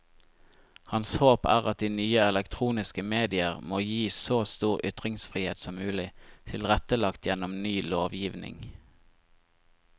Hans håp er at de nye elektroniske medier må gis så stor ytringsfrihet som mulig, tilrettelagt gjennom ny lovgivning.